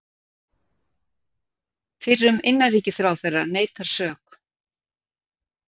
Fyrrum innanríkisráðherra neitar sök